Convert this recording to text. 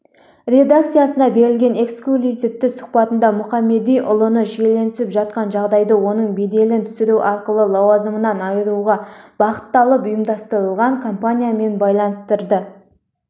редакциясына берген эксклюзивтісұхбатындамұхамедиұлы шиеленісіп жатқан жағдайды оның беделін түсіру арқылы лауазымынан айыруға бағытталып ұйымдастырылған кампаниямен байланыстырды